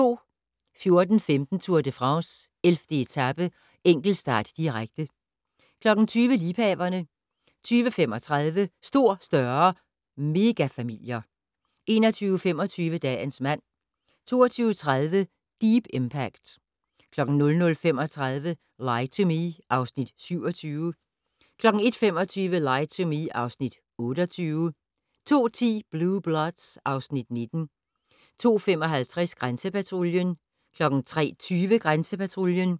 14:15: Tour de France: 11. etape - enkeltstart, direkte 20:00: Liebhaverne 20:35: Stor, større - megafamilier 21:25: Dagens mand 22:30: Deep Impact 00:35: Lie to Me (Afs. 27) 01:25: Lie to Me (Afs. 28) 02:10: Blue Bloods (Afs. 19) 02:55: Grænsepatruljen 03:20: Grænsepatruljen